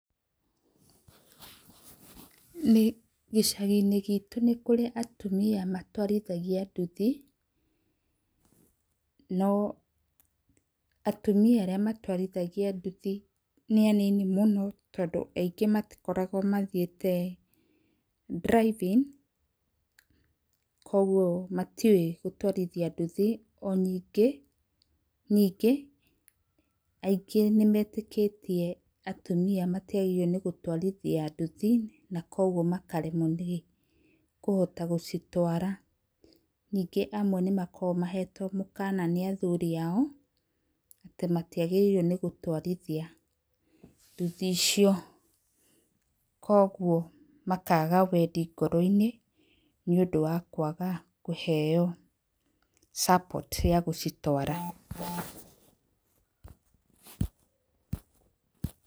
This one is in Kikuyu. Gĩcagi-inĩ gitũ nĩ kũrĩ atumia matwarithagia nduthi no atumia arĩa matwarithagia nduthi nĩ anini mũno tondũ aingĩ matikoragwo mathiĩte driving kwoguo matiũĩ gũtwarithia nduthi na ningĩ, ningĩ nĩmetĩkĩtie atumia matigarĩirwo nĩ gũtwarithia nduthi na kwoguo makaremwo nĩ kũhota gũcitwara. Ningĩ amwe nĩ makoragwo mahetwo mũũkana nĩ athuri ao atĩ matiagĩrĩirwo nĩ gũtwarithia nduthi icio na kwoguo makaga wendi ngoro-inĩ nĩ ũndũ wa kwaga kũheo support gũcitwara.